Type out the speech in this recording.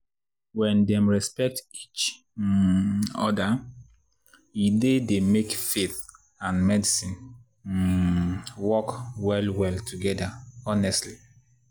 when dem respect each um other e dey dey make faith and medicine um work well well together honestly.